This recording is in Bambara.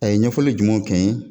A ye ɲɛfɔli jumɛnw kɛ n ye